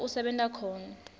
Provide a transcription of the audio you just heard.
lapho usebenta khona